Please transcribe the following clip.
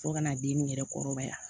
Fo kana den nin yɛrɛ kɔrɔbaya